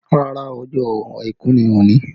Rárá, ọjọ́ àìkú ni òní